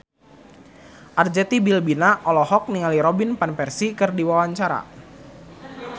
Arzetti Bilbina olohok ningali Robin Van Persie keur diwawancara